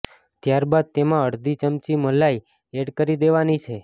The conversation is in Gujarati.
ત્યારબાદ તેમાં અડધી ચમચી મલાઈ એડ કરી દેવાની છે